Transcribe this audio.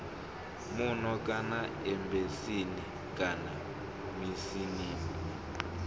muno kana embasini kana mishinini